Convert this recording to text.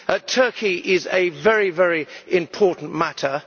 Turkey is a very, very important matter.